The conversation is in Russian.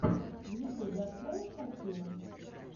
в ютубе открой шакиру